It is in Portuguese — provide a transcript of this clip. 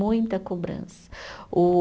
Muita cobrança. O